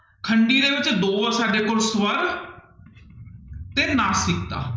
ਖੰਡੀ ਦੇ ਵਿੱਚ ਦੋ ਹੈ ਸਾਡੇ ਕੋਲ ਸ੍ਵਰ ਤੇ ਨਾਸਿਕਤਾ।